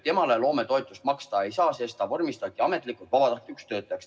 Temale loometoetust maksta ei saa, sest ta vormistati ametlikult vabatahtlikuks töötajaks.